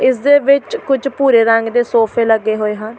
ਇਸ ਦੇ ਵਿੱਚ ਕੁੱਝ ਭੂਰੇ ਰੰਗ ਦੇ ਸੋਫੇ ਲੱਗੇ ਹੋਏ ਹਨ।